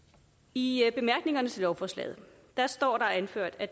i bemærkningerne til lovforslaget står der anført at